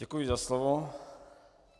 Děkuji za slovo.